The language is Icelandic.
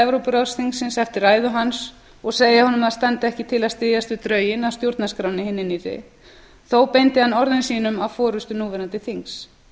evrópuráðsþingsins eftir ræðu hans og segja honum að það standi ekki til að styðjast við drögin að stjórnarskránni hinni nýrri þó beindi hann orðum sínum að forustu núverandi þings